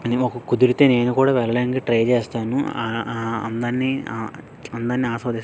ఒకవేళ కుదిరితే వెళ్లడానికి నేను కూడా ట్రై చేస్తాను ఆ-ఆ ఆ అందని ఆస్వాదిస్తాను.